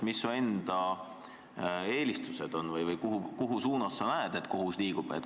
Mis su enda eelistused on või kuhu suunas sinu arvates kohus liigub?